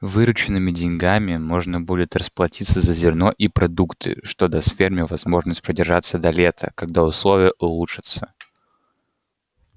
вырученными деньгами можно будет расплатиться за зерно и продукты что даст ферме возможность продержаться до лета когда условия улучшатся